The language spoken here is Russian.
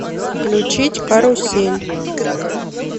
включить карусель